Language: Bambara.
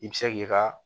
I bɛ se k'i ka